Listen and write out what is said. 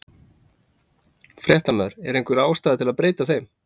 Fréttamaður: Er einhver ástæða til að breyta þeim?